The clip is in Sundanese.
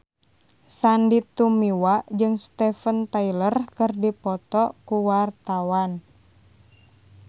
Sandy Tumiwa jeung Steven Tyler keur dipoto ku wartawan